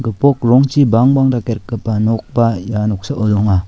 gipok rongchi bangbang dake rikgipa nokba ia noksao donga.